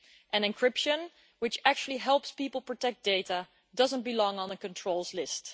An encryption which actually helps people to protect data doesn't belong on a controls list.